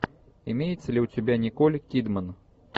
имеется ли у тебя николь кидман